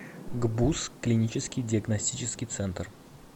гбуз клинический диагностический центр